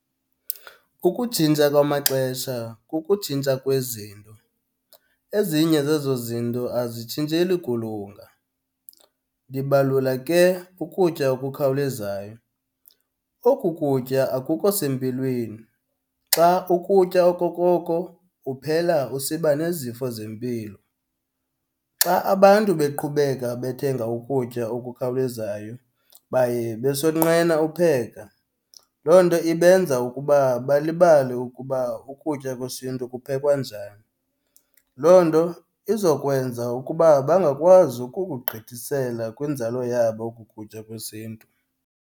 Ukutshintsha kwamaxesha kukutshintsha kwezinto. Ezinye zezo zinto azitshintsheli kulunga, ndibalula ke ukutya okukhawulezayo. Oku kutya akukho sempilweni, xa ukutya okokoko uphela usiba nezifo zempilo. Xa abantu beqhubeka bethenga ukutya okukhawulezayo baye besonqena upheka, loo nto ibenza ukuba balibale ukuba ukutya kwesiNtu kuphekwa njani. Loo nto izokwenza ukuba bangakwazi ukukugqithisela kwinzalo yabo oku kutya kwesiNtu.